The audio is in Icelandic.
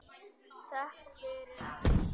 Þökk fyrir allt.